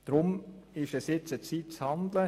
Deswegen ist es Zeit, zu handeln.